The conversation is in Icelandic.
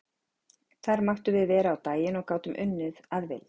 Þar máttum við vera á daginn og gátum unnið að vild.